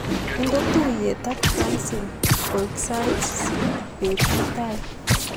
Inde tuiyet ak Francine koek sait sisit bet mutai.